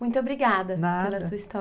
Muito obrigada, pela sua história. Nada.